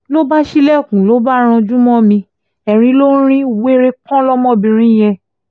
ló bá ṣílẹ̀kùn ló bá ranjú mọ́ mi erin ló ń rin wèrè kan lọ́mọbìnrin yẹn